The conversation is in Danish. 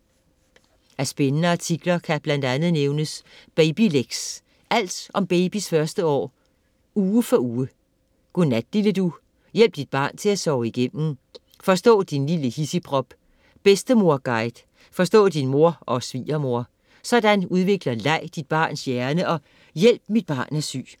Af spændende artikler kan blandt mange nævnes: Babylex - alt om babys første år uge for uge, Godnat lille du - hjælp dit barn til at sove igennem, Forstå din lille hidsigprop, Bedstemorguide - forstå din mor og svigermor, Sådan udvikler leg dit barns hjerne og Hjælp mit barn er syg.